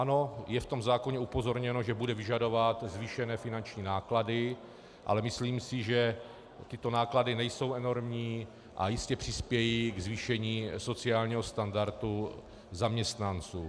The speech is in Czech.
Ano, je v tom zákoně upozorněno, že bude vyžadovat zvýšené finanční náklady, ale myslím si, že tyto náklady nejsou enormní a jistě přispějí k zvýšení sociálního standardu zaměstnanců.